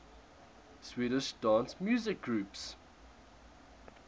swedish dance music groups